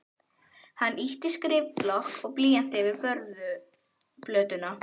Hann ýtti skrifblokk og blýanti yfir borðplötuna.